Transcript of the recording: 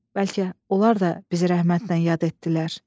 Bəlkə onlar da bizi rəhmətlə yad etdilər.